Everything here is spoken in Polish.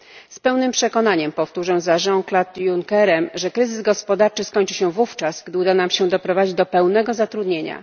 Z pełnym przekonaniem powtórzę za Jeanem Claudem Junckerem, że kryzys gospodarczy skończy się wówczas, gdy uda nam się doprowadzić do pełnego zatrudnienia.